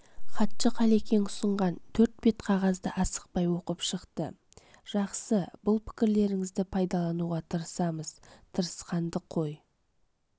хатшы қалекең ұсынған төрт бет қағазды асықпай оқып шықты жақсы бұл пікірлеріңізді пайдалануға тырысамыз тырысқанды қой